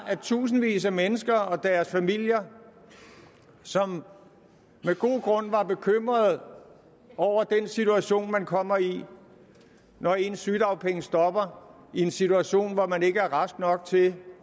tusindvis af mennesker og deres familier som med god grund var bekymrede over den situation man kommer i når ens sygedagpenge stopper i en situation hvor man ikke er rask nok til